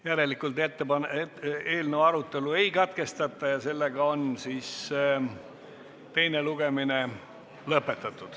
Järelikult eelnõu arutelu ei katkestata ja teine lugemine on lõpetatud.